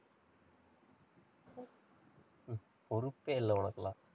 பொறுப்பே இல்ல உனக்கெல்லாம்.